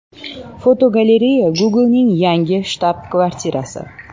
Fotogalereya: Google’ning yangi shtab-kvartirasi.